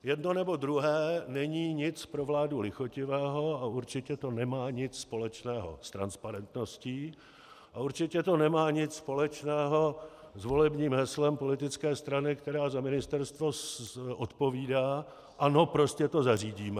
Jedno nebo druhé není nic pro vládu lichotivého a určitě to nemá nic společného s transparentností a určitě to nemá nic společného s volebním heslem politické strany, která za ministerstvo odpovídá: Ano, prostě to zařídíme.